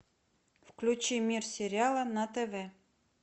включи мир сериала на тв